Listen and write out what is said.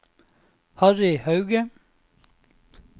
Harry Hauge